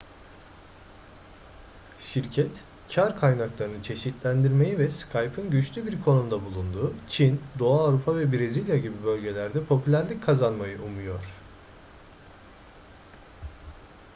şirket kar kaynaklarını çeşitlendirmeyi ve skype'ın güçlü bir konumda bulunduğu çin doğu avrupa ve brezilya gibi bölgelerde popülerlik kazanmayı umuyor